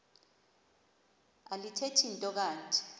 alithethi nto kanti